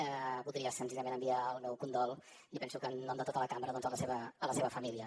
voldria senzillament enviar el meu condol i penso que en nom de tota la cambra doncs a la seva família